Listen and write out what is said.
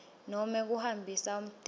nobe kuhambisa umtimba